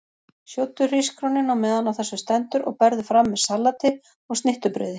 Sjóddu hrísgrjónin á meðan á þessu stendur og berðu fram með salati og snittubrauði.